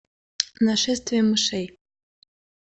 нашествие мышей